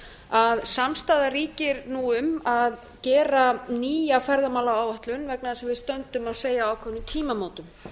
að samstaða ríkir nú um að gera nýja ferðamálaáætlun vegna þess að við stöndum að segja á ákveðnum tímamótum